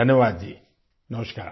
شکریہ! نمسکار